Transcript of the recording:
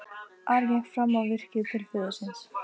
Ari gekk fram á virkið til föður síns.